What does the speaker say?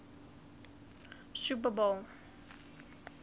super bowl xliv